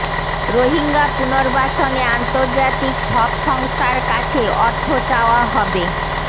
রোহিঙ্গা পুনর্বাসনে আন্তর্জাতিক সব সংস্থার কাছে অর্থ চাওয়া হবে